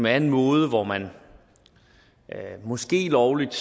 er en måde hvor man måske lovligt